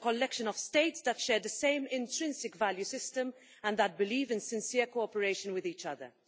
It is a collection of states that share the same intrinsic value system and that believe in sincere cooperation with each other.